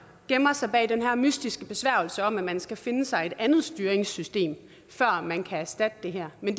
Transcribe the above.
gemmer sig bag den her mystiske besværgelse om at man skal finde sig et andet styringssystem før man kan erstatte det her men